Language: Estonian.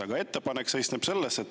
Aga ettepanek seisneb selles.